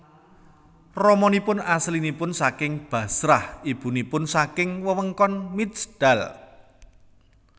Ramanipun asalipun saking Bashrah ibunipun saking wewengkon Mijdal